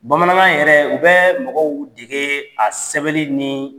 Bamanankan yɛrɛ u bɛ mɔgɔw dege a sɛbɛnni ni